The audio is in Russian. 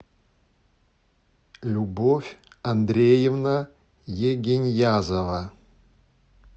любовь андреевна егеньязова